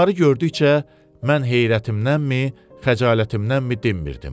Bunları gördükcə mən heyrətimdənmi, xəcalətimdənmi dinmirdim.